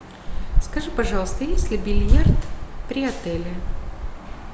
скажи пожалуйста есть ли бильярд при отеле